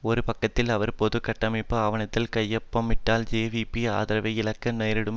ஒரு பக்கத்தில் அவர் பொது கட்டமைப்பு ஆவணத்தில் கையொப்பமிட்டால் ஜேவிபி ஆதரவை இழக்க நேரிடும்